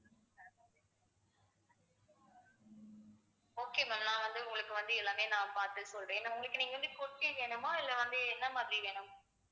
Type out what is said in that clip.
okay ma'am நான் வந்து உங்களுக்கு வந்து எல்லாமே நான் பார்த்து சொல்றேன் உங்களுக்கு நீங்க வந்து kurti வேணுமா இல்லை வந்து என்ன மாதிரி வேணும்